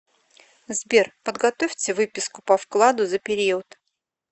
сбер подготовьте выписку по вкладу за период